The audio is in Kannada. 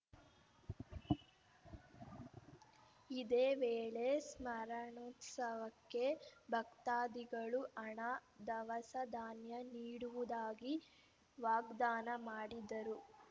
ಇದೇ ವೇಳೆ ಸ್ಮರಣೋತ್ಸವಕ್ಕೆ ಭಕ್ತಾದಿಗಳು ಹಣ ಧವಸ ಧಾನ್ಯ ನೀಡುವುದಾಗಿ ವಾಗ್ದಾನ ಮಾಡಿದರು